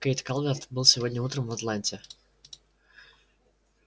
кэйд калверт был сегодня утром в атланте